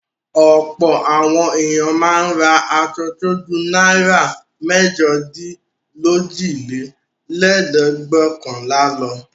Ọ̀pọ̀ àwọn ènìyàn máa ń ra aṣọ tó ju náírà mẹ́jọdínlójìlélẹ́ẹ̀dẹ́gbẹ́ọ̀kànl lọ.